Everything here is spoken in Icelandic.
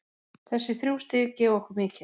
Þessi þrjú stig gefa okkur mikið.